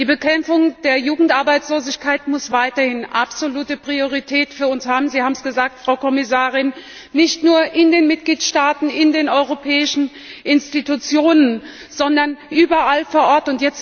Die Bekämpfung der Jugendarbeitslosigkeit muss weiterhin absolute Priorität für uns haben Sie haben es gesagt, Frau Kommissarin nicht nur in den Mitgliedstaaten, in den europäischen Institutionen, sondern überall vor Ort.